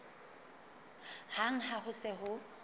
hang ha ho se ho